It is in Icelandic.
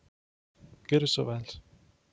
Gjörðu svo vel.